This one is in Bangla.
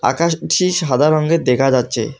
আকাশটি সাদা রঙের দেখা যাচ্ছে।